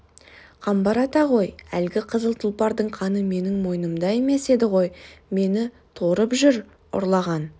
қамбар ата ғой әлгі қызыл тұлпардың қаны менің мойнымда емес еді ғой мені торып жүр ұрлаған